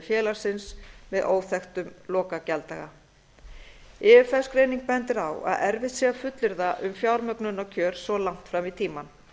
félagsins með óþekktum lokagjalddaga ifs greining bendir á að erfitt sé að fullyrða um fjármögnunarkjör svo langt fram í tímann